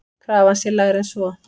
Krafan sé lægri en svo.